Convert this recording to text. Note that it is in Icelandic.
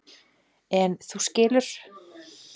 En þú skilur.